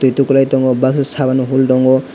tui tukulai tongo baksa saban bo phultongo.